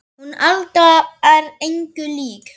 Hún Alda er engu lík